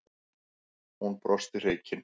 Hún brosti hreykin.